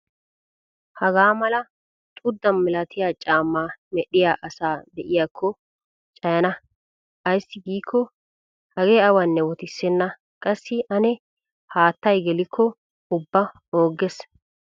Hagaa mala xuuda malatiya caamaa medhdhiya asaa be'iyaakko cayana. Ayssi giikko Hagee awanne wottissenna qassi Ani haattay gelikko ubba oogges.